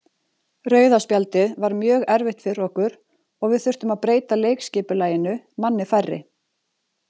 Rauða spjaldið var mjög erfitt fyrir okkur og við þurftum að breyta leikskipulaginu manni færri.